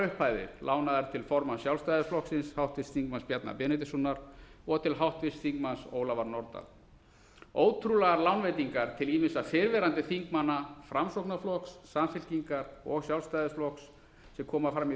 upphæðir lánaðar til formanns sjálfstæðisflokksins háttvirts þingmanns bjarna benediktssonar og til háttvirts þingmanns ólafar nordal ótrúlegar lánveitingar til ýmissa fyrrverandi þingmanna framsóknarflokks samfylkingar og sjálfstæðisflokks sem koma fram í